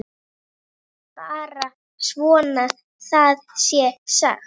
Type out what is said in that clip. Bara svo það sé sagt.